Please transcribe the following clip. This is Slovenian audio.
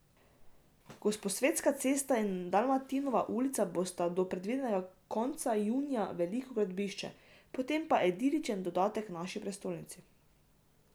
Gosposvetska cesta in Dalmatinova ulica bosta do predvidoma konca junija veliko gradbišče, po tem pa idiličen dodatek naši prestolnici.